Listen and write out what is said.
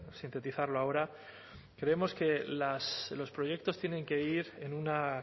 sintetizarlo ahora creemos que los proyectos tienen que ir en una